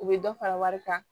U bɛ dɔ fara wari kan